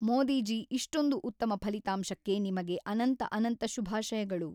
ಮೋದಿಜಿ ಇಷ್ಟೊಂದು ಉತ್ತಮ ಫಲಿತಾಂಶಕ್ಕೆ ನಿಮಗೆ ಅನಂತ ಅನಂತ ಶುಭಾಷಯಗಳು